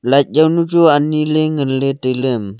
light jaonu chu ani ley ngan ley tailey.